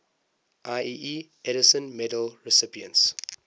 ieee edison medal recipients